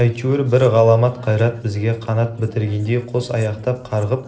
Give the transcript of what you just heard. әйтеуір бір ғаламат қайрат бізге қанат бітіргендей қос аяқтап қарғып